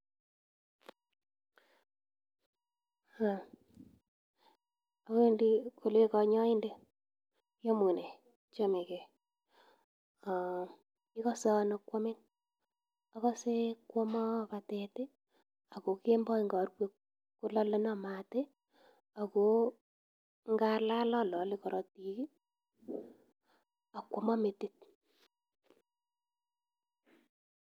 Um awendi kole kanyoindet, iaumune? Achamegei. Igose ano kwamin? Agase kwomo batet, ago kemboi ngarue kolaleno mat ago ngalal alale korotik ak kwomo metit.